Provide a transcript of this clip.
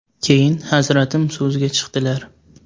Keyin Hazratim so‘zga chiqdilar.